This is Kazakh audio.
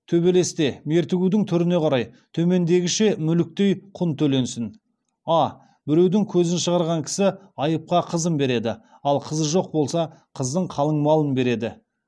төбелесте мертігуің түріне қарай төмендегіше мүліктей құн төленсін а біреудің көзін шығарған кісі айыпқа қызын береді ал қызы жоқ болса қыздың қалыңмалын береді